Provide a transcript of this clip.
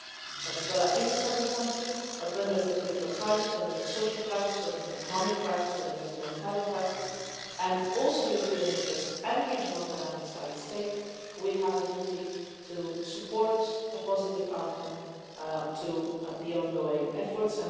Venezuela is a sovereign country, but when there is a political crisis, when there is a social crisis, when there is an economic crisis, when there is a humanitarian crisis and also European interest and regional dynamics are at stake, we have a duty to support a positive outcome to the ongoing efforts.